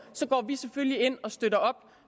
vi går selvfølgelig ind og støtter